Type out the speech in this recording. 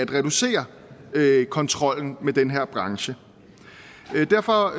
reducerede kontrollen med den her branche derfor